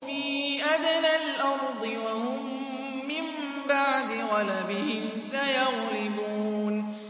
فِي أَدْنَى الْأَرْضِ وَهُم مِّن بَعْدِ غَلَبِهِمْ سَيَغْلِبُونَ